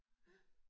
Ja